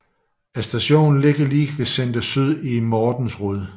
Stationen ligger lige ved Senter Syd i Mortensrud